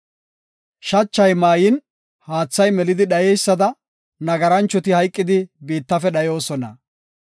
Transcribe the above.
Shachi maayin, haathi melidi dhayeysada, nagaranchoti hayqidi biittafe dhayoosona.